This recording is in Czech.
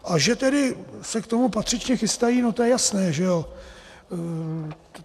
A že tedy se k tomu patřičně chystají, no to je jasné, že jo.